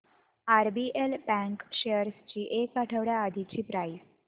RBL bank shares ची एक आठवड्या आधीची प्राइस